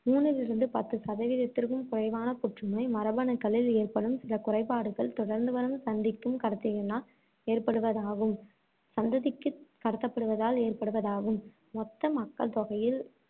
மூணிலிருந்து பத்து சதவீதத்திற்கும் குறைவான புற்றுநோய், மரபணுக்களில் ஏற்படும் சில குறைபாடுகள் தொடர்ந்துவரும் சந்திக்குக் கடத்தனால் ஏற்படுவதாகும், சந்ததிக்கு கடத்தப்படுவதால் ஏற்படுவதாகும் மொத்த மக்கள் தொகையில்